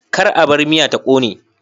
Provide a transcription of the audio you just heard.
Kar a bar miya ta kone